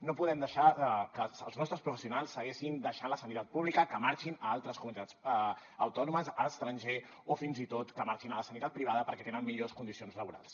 no podem deixar que els nostres professionals segueixin deixant la sanitat pública que marxin a altres comunitats autònomes a l’estranger o fins i tot que marxin a la sanitat privada perquè tenen millors condicions laborals